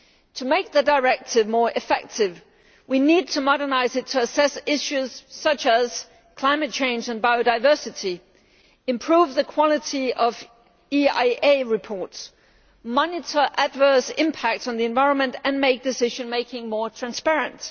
To make the Directive more effective, we need to modernise it to assess issues such as climate change and biodiversity, improve the quality of EIA reports, monitor adverse impact on the environment and make decision making more transparent.